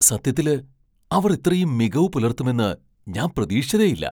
സത്യത്തില് അവർ ഇത്രയും മികവ് പുലർത്തുമെന്ന് ഞാൻ പ്രതീക്ഷിച്ചതേയില്ല.